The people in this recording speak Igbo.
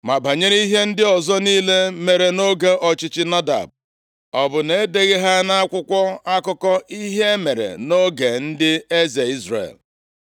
Ma banyere ihe ndị ọzọ niile mere nʼoge ọchịchị Nadab, o bụ na e deghị ha nʼakwụkwọ akụkọ ihe mere nʼoge ndị eze Izrel?